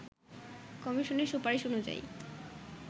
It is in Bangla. কমিশনের সুপারিশ অনুযায়ী